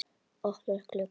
Opnar glugga.